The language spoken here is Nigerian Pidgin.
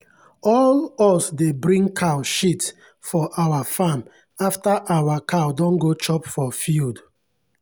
all us dey bring cow shit for our farm after our cow don go chop for field.